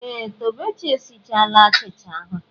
Ee! Tobechi esichala achịcha ahụ.